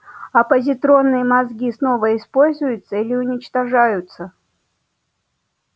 а позитронные мозги снова используются или уничтожаются